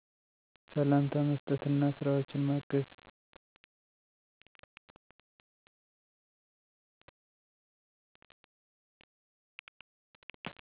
ሰላምታ መስጠት አና ስራወችን ማገዝ